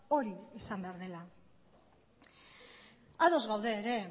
hori izan behar dela ados gaude ere